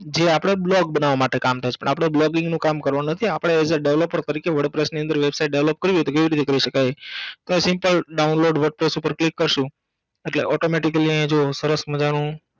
જે આપણે blog બનાવવા માટે કામ થસે આપણે blogging નું કામ કરવાનું નથી આપણે એજ એ developer તરીકે wordpress ની અંદર Website Develop કરવી હોય તો કેવી રીતના કરી સકાય એ Simple Download WordPress પર click કરસું એટલે automatically આયા જુઓ સરસ મજાનું